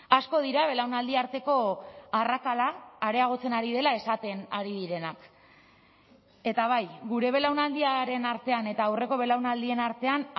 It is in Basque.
asko dira belaunaldi arteko arrakala areagotzen ari dela esaten ari direnak eta bai gure belaunaldiaren artean eta aurreko belaunaldien artean